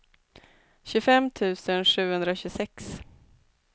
tjugofem tusen sjuhundratjugosex